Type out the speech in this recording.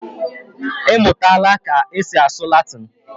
Imutala ka esi asụ Latin?